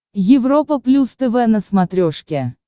европа плюс тв на смотрешке